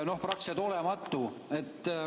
Praktiliselt olematu.